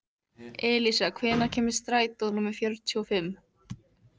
Elísa, hvenær kemur strætó númer fjörutíu og fimm?